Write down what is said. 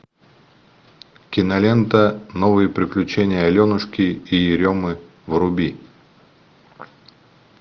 кинолента новые приключения аленушки и еремы вруби